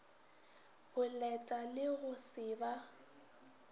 boleta le go se ba